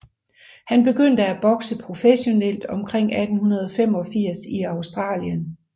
Han begyndte at bokse professionelt omkring 1885 i Australien